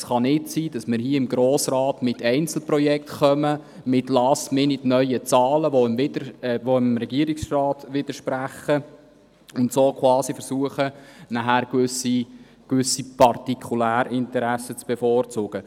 Es kann nicht sein, dass wir hier im Grossen Rat Einzelprojekte einbringen und in letzter Minute neue Zahlen präsentieren, die dem Regierungsrat widersprechen, und so versuchen, gewisse Partikularinteressen durchzusetzen.